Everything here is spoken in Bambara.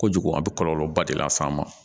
Kojugu a bɛ kɔlɔlɔba de las'a ma